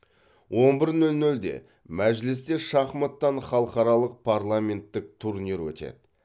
он бір нөл нөлде мәжілісте шахматтан халықаралық парламенттік турнир өтеді